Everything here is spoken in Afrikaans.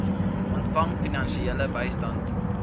ontvang finansiële bystand